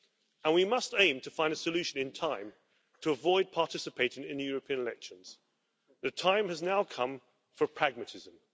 and we must aim to find a solution in time to avoid participating in the European elections. The time has now come for pragmatism.